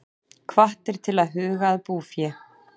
Hvattir til að huga að búfé